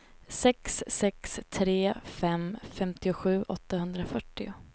sex sex tre fem femtiosju åttahundrafyrtio